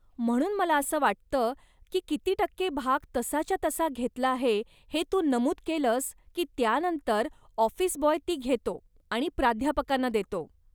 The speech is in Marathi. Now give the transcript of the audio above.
म्हणून मला असं वाटतं की किती टक्के भाग तसाच्या तसा घेतला आहे हे तू नमूद केलंस की त्यानंतर ऑफिस बॉय ती घेतो आणि प्राध्यापकांना देतो.